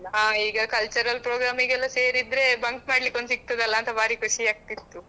ಹಾ ಈಗ cultural program ಗೆ ಎಲ್ಲ ಸೇರಿದ್ರೆ bunk ಮಾಡಲಿಕ್ಕೆ ಒಂದು ಸಿಗ್ತದಲಾ ಅಂತ ಭಾರಿ ಖುಷಿ ಆಗ್ತಿತ್ತು.